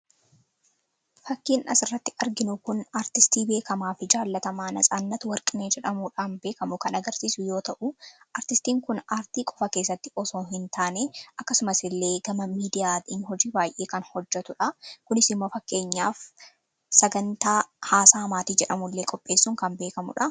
Fakkiin asirratti arginu kun artistii beekamaa fi jaallatamaa Natsaannat Warqinee jedhamuudhaan beekamu yoo ta'u, artistiin kun aartii qofaa keessatti beekama osoo hin taane akkasuma gama miidiyaan hojii baay'ee kan hojjatudha. Kunis fakkeenyaaf sagantaa haasaa maatii jedhamu qopheessuun kan beekamudha.